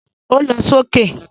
Ó lọ sókè